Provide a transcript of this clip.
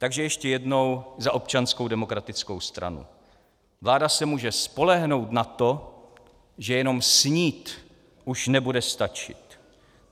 Takže ještě jednou za Občanskou demokratickou stranu: Vláda se může spolehnout na to, že jenom snít už nebude stačit.